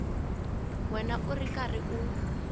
wena u ri karhi u